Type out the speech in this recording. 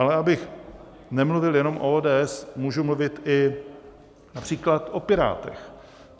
Ale abych nemluvil jenom o ODS, můžu mluvit i například o Pirátech.